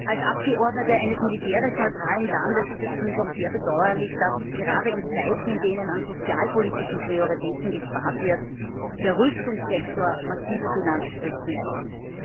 Als Abgeordnete eines militärisch neutralen Landes ist es für mich auch sehr bedauerlich, dass gerade in Zeiten, in denen an sozialpolitischen Prioritäten gespart wird, der Rüstungssektor massive Finanzspritzen erhält.